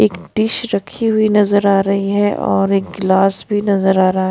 एक डिश रखी हुई नजर आ रही है और एक गिलास भी नजर आ रहा है।